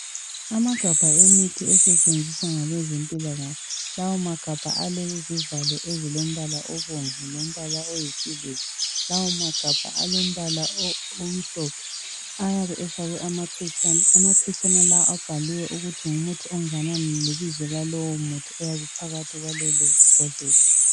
Amagabha emithi asetshenziswa ngabezempilakahle lawa magabha alezivalo ezilombala obomvu lombala oyisiliva lawo magabha alombala omhlophe ayabe efakwe amaphetshana, amaphetshana lawo abhaliwe ukuthi ngumuthi ongana lebizo lalowo muthi oyabe uphakathi kwalelo bhodlela.